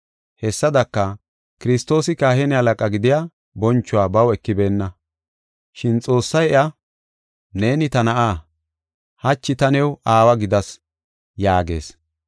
Hessadaka, Kiristoosi kahine halaqa gidiya bonchuwa baw ekibeenna. Shin Xoossay iya, “Neeni ta Na7a; hachi ta new Aawa gidas” yaagees.